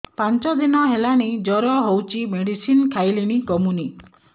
ପାଞ୍ଚ ଦିନ ହେଲାଣି ଜର ହଉଚି ମେଡିସିନ ଖାଇଲିଣି କମୁନି